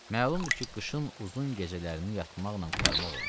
Məlumdur ki, qışın uzun gecələrini yatmaqla qurtarmaq olmaz.